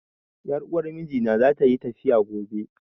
Ƴar uwar mijina za ta yi tafiya gobe